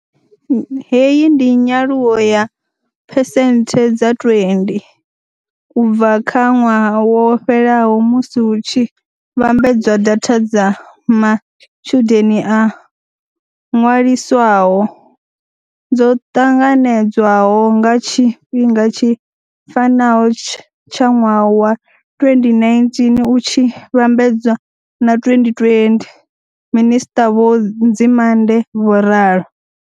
Hei ndi nyaluwo ya phesenthe dza 20 u bva kha ṅwaha wo fhelaho musi hu tshi vhambedzwa data dza matshudeni o ṅwaliswaho dzo ṱanganedzwaho nga tshifhinga tshi fanaho tsha ṅwaha wa 2019 u tshi vhambedzwa na 2020, minisṱa vho Nzimande vho ralo.